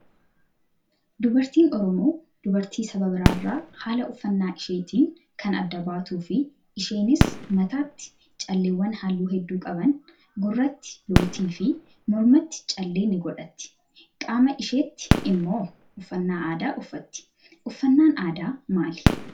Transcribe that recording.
Dubartiin oromoo dubartii saba biraarraa haala uffannaa isheetiin kan adda baatuu fi isheenis mataatti calleewwan halluu hedduu qaban gurratti lootii fi mormatti callee ni godhatti. Qaama isheetti immoo uffannaa aadaa uffatti. Uffannaan aadaa maali?